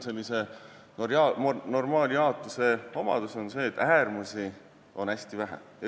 Sellise normaaljaotuse omadus on see, et äärmusi on hästi vähe.